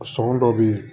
Sɔngɔ dɔ be yen